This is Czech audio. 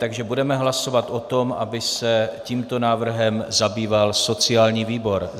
Tak budeme hlasovat o tom, aby se tímto návrhem zabýval sociální výbor.